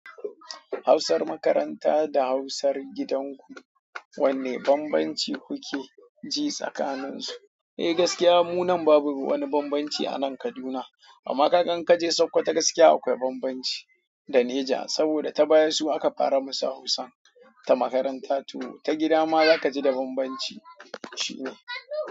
Hausar makaranta da Hausar gidanku, wane bambanci kuke ji tsakaninsu? Eh gaskiya mu nan babu wani bambanci a nan Kaduna. Amma kaga in kaje Sokoto gaskiya akwai bambanci da Niger. Saboda ta baya su aka fara musu Hausan ta makaranta. To ta gida ma za ka ji da bambanci. Shi ne.